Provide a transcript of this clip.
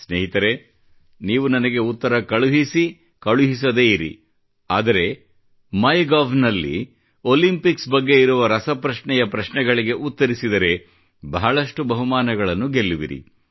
ಸ್ನೇಹಿತರೆ ನೀವು ನನಗೆ ಉತ್ತರ ಕಳುಹಿಸಿ ಕಳುಹಿಸದೇ ಇರಿ ಆದರೆ ಮೈಗೌನಲ್ಲಿ ಒಲಿಂಪಿಕ್ಸ್ ಬಗ್ಗೆ ಇರುವ ರಸಪ್ರಶ್ನೆಯ ಪ್ರಶ್ನೆಗಳಿಗೆ ಉತ್ತರಿಸಿದರೆ ಬಹಳಷ್ಟು ಬಹುಮಾನಗಳನ್ನು ಗೆಲ್ಲುವಿರಿ